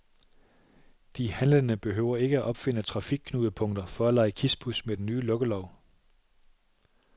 De handlende behøver ikke opfinde trafikknudepunkter for at lege kispus med den nye lukkelov.